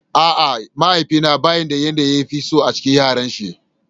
A'a, mahaifi na bai da yanda ya fi so a cikin Yaran shi.